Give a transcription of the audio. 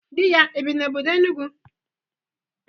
Di ya ebi n'obodo Enugwu?